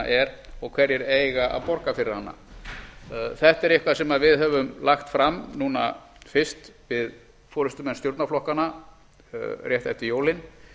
er og hverjir eiga að borga fyrir hana þetta er eitthvað sem við höfum lagt fram núna fyrst við forustumenn stjórnarflokkanna rétt eftir jólin